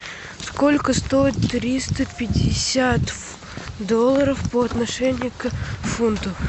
сколько стоит триста пятьдесят долларов по отношению к фунту